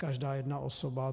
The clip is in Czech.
Každá jedna osoba.